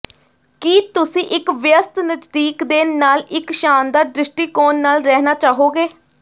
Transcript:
ਕੀ ਤੁਸੀਂ ਇੱਕ ਵਿਅਸਤ ਨਜ਼ਦੀਕ ਦੇ ਨਾਲ ਇੱਕ ਸ਼ਾਨਦਾਰ ਦ੍ਰਿਸ਼ਟੀਕੋਣ ਨਾਲ ਰਹਿਣਾ ਚਾਹੋਗੇ